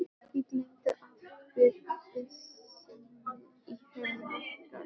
Ég gleymdi afbrýðiseminni í hennar garð.